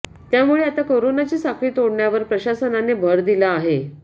त्यामुळे आता करोनाची साखळी तोडण्यावर प्रशासनाने भर दिला आहे